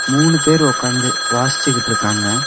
மூணு பேர் ஒக்காந்து வாச்சிட்டு இருக்காங்க.